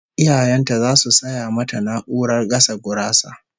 Iyayen ta zasu saya mata na'urar gasa gurasa